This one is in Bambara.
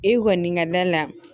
E kɔni ka da la